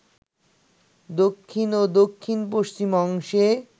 দক্ষিণ ও দক্ষিণ পশ্চিম অংশে